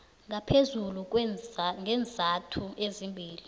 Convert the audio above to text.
ngaphezulu ngeenzathu ezimbili